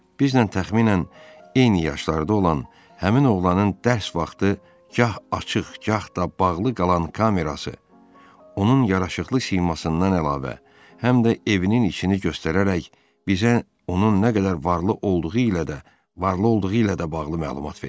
Bizimlə təxminən eyni yaşlarda olan həmin oğlanın dərs vaxtı gah açıq, gah da bağlı qalan kamerası, onun yaraşıqlı simasından əlavə, həm də evinin içini göstərərək bizə onun nə qədər varlı olduğu ilə də varlı olduğu ilə də bağlı məlumat verirdi.